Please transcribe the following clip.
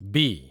ବି